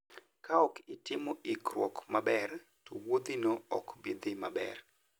Kaok itimo ikruok maber, to wuodhino ok bi dhi maber.